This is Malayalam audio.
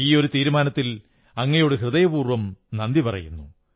ഈ ഒരു തീരുമാനത്തിൽ അങ്ങയോടു ഹൃദയപൂർവ്വംനന്ദി പറയുന്നു